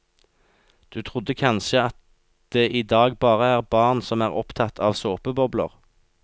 Du trodde kanskje at det i dag bare er barn som er opptatt av såpebobler?